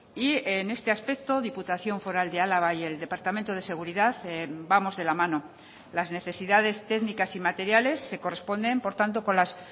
y en este aspecto diputación foral de álava y el departamento de seguridad vamos de la mano las necesidades técnicas y materiales se corresponden por tanto con las